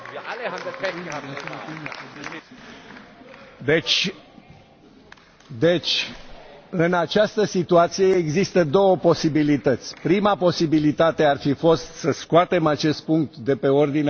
În această situație există două posibilități prima posibilitate ar fi fost să scoatem acest punct de pe ordinea de zi, dar nu se poate face acest lucru pentru că discutăm